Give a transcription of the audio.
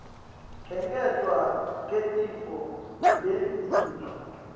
kwengetwa kwetitfo temtimba